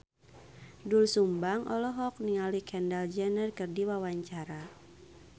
Doel Sumbang olohok ningali Kendall Jenner keur diwawancara